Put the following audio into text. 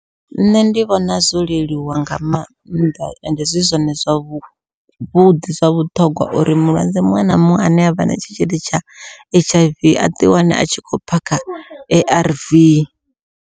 Nṋe ndi vhona zwo leluwa nga mannḓa, ende zwi zwone zwavhuḓi zwa vhuṱhongwa uri mulwadze muṅwe na muṅwe ane avha na tshitzhili tsha H_I_V a ḓi wane a tshi khou phakha A_R_V.